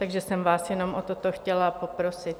Takže jsem vás jenom o toto chtěla poprosit.